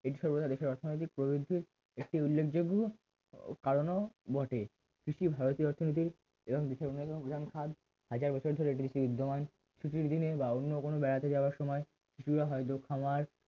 দেশের অর্থনৈতিক প্রবৃদ্ধির একটি উল্লেখযোগ্য কারণ বটে কৃষি ভারতের অর্থনীতির এবং দেশের অন্যতম প্রধান খাত হাজার বছর ধরে কৃষির উৎগমন কিছু কিছু জিনিস বা অন্য কোনো বেড়াতে যাওয়ার সময় কৃষিজ হয়তো খামার